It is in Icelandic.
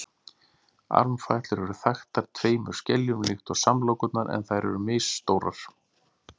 armfætlur eru þaktar tveimur skeljum líkt og samlokurnar en þær eru misstórar